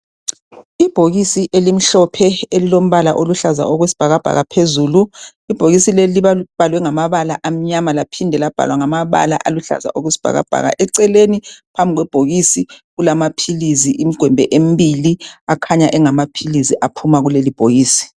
ibhokisi elimhlophe elilombala oluhlaza okwesibhakabhaka phezulu ibhokisi leli libhalwe ngamabala amnyama laphinde labhalwa ngamabala aluhlaza okwesibhakabhaka eceleni phambi kwebhokisi kulamaphilisi imigwembe embili akhanya engamaphilisi aphuma kuleli ibhokisi